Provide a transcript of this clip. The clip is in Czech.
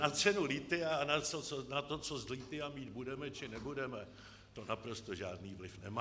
Na cenu lithia a na to, co z lithia mít budeme či nebudeme, to naprosto žádný vliv nemá.